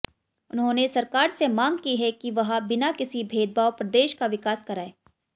उन्होंने सरकार से मांग की है कि वह बिना किसी भेदभाव प्रदेश का विकास करायें